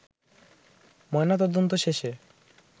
ময়না তদন্ত শেষে